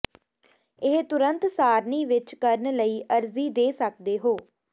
ਇਹ ਤੁਰੰਤ ਸਾਰਣੀ ਵਿੱਚ ਕਰਨ ਲਈ ਅਰਜ਼ੀ ਦੇ ਸਕਦੇ ਹੋ